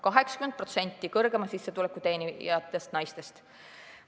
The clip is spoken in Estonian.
80% kõrgemat sissetulekut teenivatest naistest.